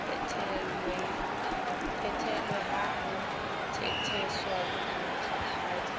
phethelwe ha ho thetheswa bohadi